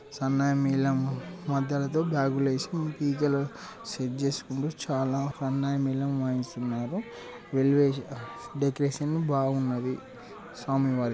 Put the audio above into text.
సన్నాయి మేళం మద్దెల తో బ్యాగ్ లేసీ తీగల సెట్ చేసుకొండ్రు చాలా సన్నాయి మేళం వాయించుతున్నారు ఎలేవేషన్ డెకొరేషన్ బాగున్నది స్వామి వారిది.